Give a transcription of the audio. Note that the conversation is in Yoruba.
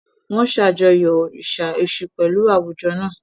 Wọ́n ṣàjọyọ̀ òrìṣà Èṣù pẹ̀lú àwùjọ náà.